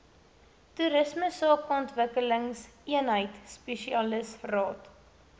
toerisme sakeontwikkelingseenheid spesialisraad